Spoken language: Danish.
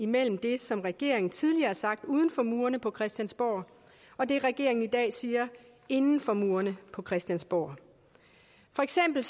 mellem det som regeringen tidligere har sagt uden for murene på christiansborg og det regeringen i dag siger inden for murene på christiansborg for eksempel